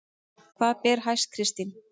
Hvað ber hæst Kristín?